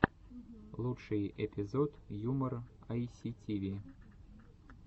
лучший эпизод юмор айситиви